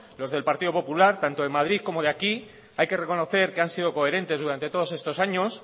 los del partido popular tanto en madrid como aquí hay que reconocer que han sido coherentes durante todos estos años